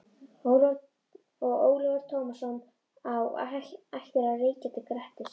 Og Ólafur Tómasson á ættir að rekja til Grettis.